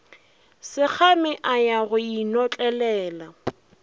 sekgame a ya go inotlelela